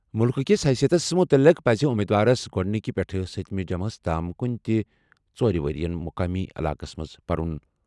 مُلکہٕ کِس حیثیتَس مُتعلِق پَزِ امیدوارَس گۄڈٕنِکہِ پٮ۪ٹھٕ سٔتِمہِ جمٲژ تام کُنہِ تہِ ژورِ ؤرۍ یَن مقٲمی علاقَس منٛز پرُن۔